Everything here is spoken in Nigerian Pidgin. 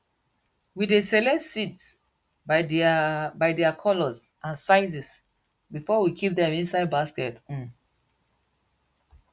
we dey select seeds by their by their colours and sizes before we kip dem inside baskets um